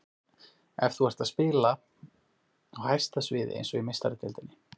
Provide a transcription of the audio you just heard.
Ef þú ert að spila á hæsta sviði, eins og í Meistaradeildinni.